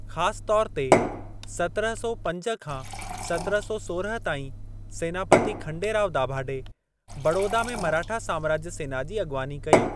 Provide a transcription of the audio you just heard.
ख़ासि तौरु ते, सत्रहं सौ पंज खां सत्रहं सौ सोरहं ताईं, सेनापति खंडेराव दाभाडे, बड़ौदा में मराठा साम्राज्य सेना जी अॻिवानी कई।